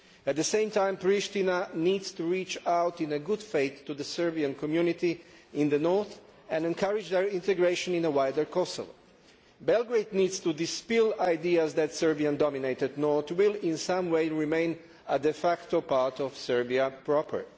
At the same time, Priština needs to reach out in good faith to the Serbian community in the north and encourage their integration in a wider Kosovo. Belgrade needs to dispel ideas that the Serbian dominated north will in some way remain a de facto part of Serbia proper.